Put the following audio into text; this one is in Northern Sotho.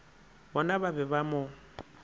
bona ba be ba mo